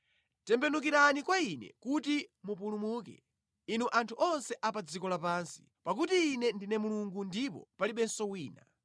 “Tembenukirani kwa Ine kuti mupulumuke, inu anthu onse a pa dziko lapansi, pakuti Ine ndine Mulungu ndipo palibenso wina.